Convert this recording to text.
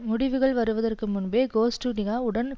முடிவுகள் வருவதற்கு முன்பே கோஸ்டுனிகா உடன்